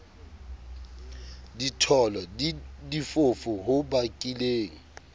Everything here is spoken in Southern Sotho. ditholo le difofu ho bakileng